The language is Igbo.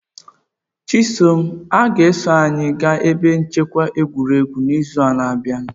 Chisom a ga-eso anyị gaa ebe nchekwa egwuregwu n'izu na-abịa?